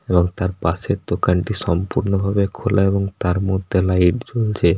এবং তার পাশের দোকানটি সম্পূর্ণ ভাবে খোলা এবং তার মধ্যে লাইট জ্বলছে।